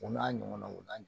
U n'a ɲɔgɔn naw n'a